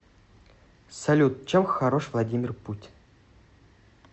салют чем хорош владимир путин